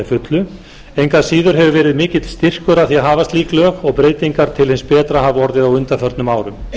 engu að síður hefur verið mikill styrkur að því að hafa slík lög og breytingar til hins betra hafa orðið á undanförnum árum